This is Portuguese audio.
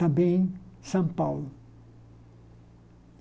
Também São Paulo.